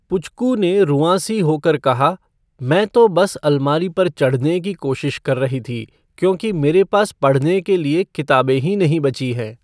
पुचकू ने रुआँसी होकर कहा, मैं तो बस अलमारी पर चढ़ने की कोशिश कर रही थी, क्योंकि मेरे पास पढ़ने के लिए किताबें ही नहीं बची हैं।